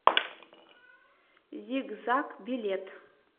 зиг заг билет